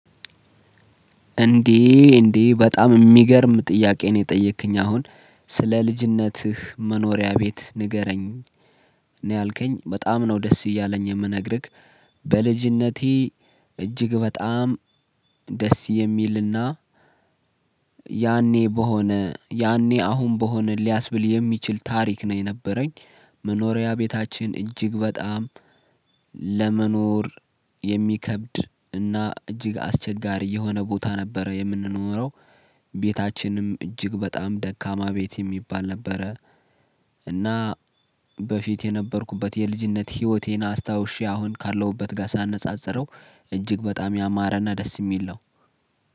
እንዴ እንዴ በጣም የሚገርም ጥያቄ ነው የጠየቅከኝ አሁን ስለ ልጅነትህ መኖሪያ ቤት ንገረኝ? ነው ያልከኝ በጣም ነው ደስ እያለኝ የምነግርክ። በልጅነቴ እጅግ በጣም ደስ የሚልና ያኔ በሆነ ያኔ አሁን በሆነ ሊያስብል የሚችል ታሪክ ነው የነበረኝ። መኖሪያ ቤታችን እጅግ በጣም ለመኖር የሚከብድ እና እጅግ አስቸጋሪ የሆነ ቦታ ነበረ የምንኖረው ቤታችንም እጅግ በጣም ደካማ ቤት የሚባል ነበረ። እና በፊት የነበርኩበት የልጅነት ህይወቴን አስታውሼ አሁን ካለሁበት ጋር ሳነጻጽረው እጅግ በጣም ያማረና ደስ የሚል ነው።